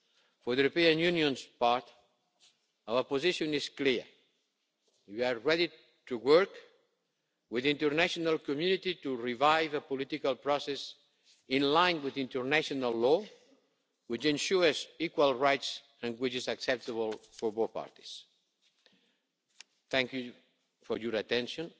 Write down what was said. For the European Union's part, our position is clear. We are ready to work with the international community to revive a political process in line with international law, which ensures equal rights and which is acceptable to both parties. Thank you for your attention